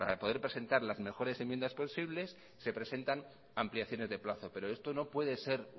poder presentar las mejores enmiendas posibles se presentan ampliaciones de plazos pero esto no puede ser